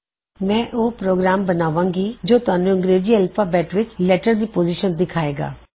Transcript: ਮੈਂ ਉਹ ਪ੍ਰੋਗਰਾਮ ਬਣਾਵਾਂਗਾ ਜੋ ਤੁਹਾਨੂੰ ਅੰਗਰੇਜ਼ੀ ਐਲਫ਼ਾਬੈੱਟ ਵਿੱਚ ਲੈਟਰ ਦੀ ਪੋਜ਼ੀਸ਼ਨ ਦਿਖਾਏਗਾ